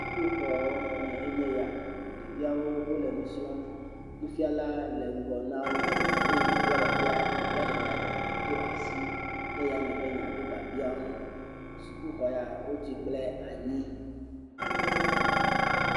Sukuxɔ me enye ya ɖeviawo le nu srɔ̃m nufiala le wo ŋgɔ, ebia biabia eye ɖevi ɖeka do asi ɖe dzi be yeado eŋu, sukuxɔ ya wotui kple anyi.